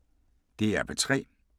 DR P3